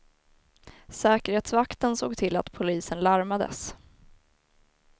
Säkerhetsvakten såg till att polisen larmades.